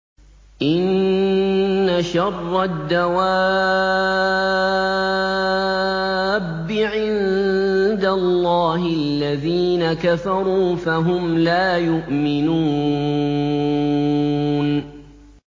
إِنَّ شَرَّ الدَّوَابِّ عِندَ اللَّهِ الَّذِينَ كَفَرُوا فَهُمْ لَا يُؤْمِنُونَ